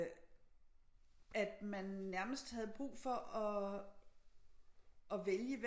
At man nærmest havde brug for at at vælge